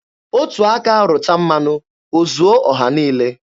Otu aka rụta mmanụ, o zuo ọha niile.